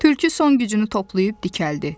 Tülkü son gücünü toplayıb dikəldi.